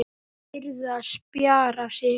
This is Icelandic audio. Þær yrðu að spjara sig.